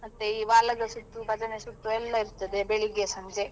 ಮತ್ತೆ ಈ ಓಲಗ ಸುತ್ತು ಭಜನೆ ಸುತ್ತು ಎಲ್ಲ ಇರ್ತದೆ ಬೆಳ್ಳಿಗೆ ಸಂಜೆ.